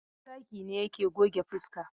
Habu Zaki ne yake goge fuska.